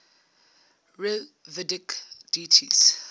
rigvedic deities